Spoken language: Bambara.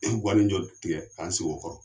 guwanin jɔ tigɛ k'an sigi o kɔrɔ.